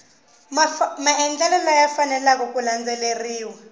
maendlelo laya faneleke ku landzeleriwa